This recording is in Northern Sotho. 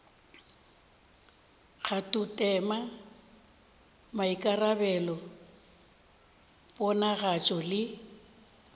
le kgathotema maikarabelo ponagatšo le